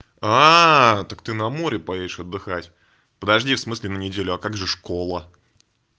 так ты на море поедешь отдыхать подожди в смысле на неделю а как же школа